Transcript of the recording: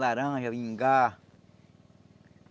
Laranja, ingá.